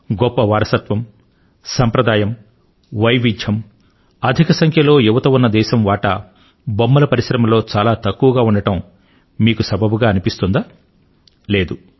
గొప్ప వారసత్వం సంప్రదాయం వైవిధ్యం అధిక సంఖ్యలో యువత ఉన్న దేశం వాటా బొమ్మల పరిశ్రమలో చాలా తక్కువగా ఉండడం మీకు సబబుగా అనిపిస్తోందా లేదు